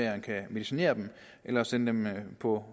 at man kan medicinere dem eller sende dem på